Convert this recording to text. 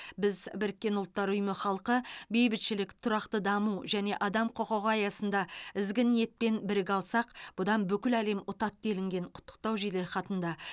біз біріккен ұлттар ұйымы халқы бейбітшілік тұрақты даму және адам құқығы аясында ізгі ниетпен біріге алсақ бұдан бүкіл әлем ұтады делінген құттықтау жеделхатында